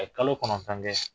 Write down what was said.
Aye kalo kɔnɔntɔn kɛ